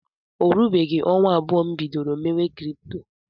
O rubeghị ọnwa abụọ m bidoro mewe krypto.